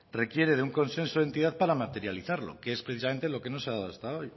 requiere de un consenso de entidad para materializarlo que es precisamente lo que no se ha dado